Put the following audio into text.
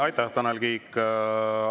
Aitäh, Tanel Kiik!